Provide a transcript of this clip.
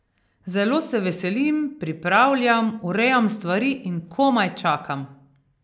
Zelo se veselim, pripravljam, urejam stvari in komaj čakam!